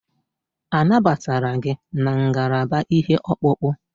A nabatara gị na ngalaba ihe ọkpụkpụ?